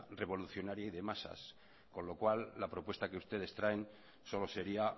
revolucionaria y de masas con lo cual la propuesta que ustedes traen solo sería